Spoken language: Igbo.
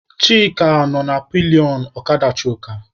Chika nọ na pilionụ ọkada Chuka.